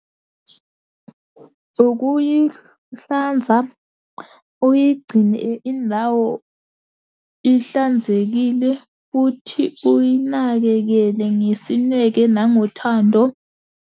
Ukuyihlanza, uyigcine indawo ihlanzekile, futhi uyinakekele ngesineke nangothando.